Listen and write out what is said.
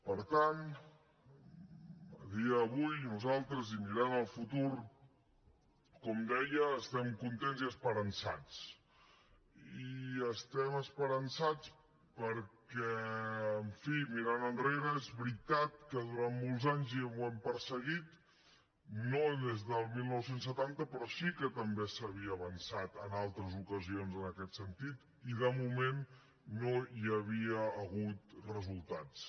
per tant a dia d’avui nosaltres i mirant al futur com deia estem contents i esperançats i estem esperançats perquè en fi mirant enrere és veritat que durant molts anys ja ho hem perseguit no des del dinou setanta però sí que també s’havia avançat en altres ocasions en aquest sentit i de moment no hi havia hagut resultats